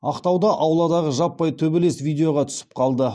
ақтауда ауладағы жаппай төбелес видеоға түсіп қалды